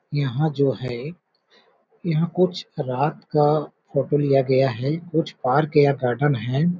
यहाँ जो है यहाँ कुछ रात का फोटो लिया गया है। कुछ पार्क या गार्डन है।